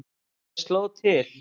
En ég sló til.